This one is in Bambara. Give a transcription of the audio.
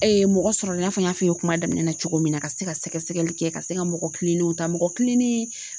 mɔgɔ sɔrɔ i n'a fɔ n y'a f'i ye kuma daminɛ na cogo min na , ka se ka sɛgɛsɛgɛli kɛ, ka se ka mɔgɔ kilenninw ta, mɔgɔ kilenin